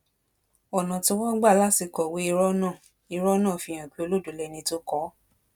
ọnà tí wọn gbà kọwé irọ náà irọ náà fihàn pé olódó lẹni tó kọ ọ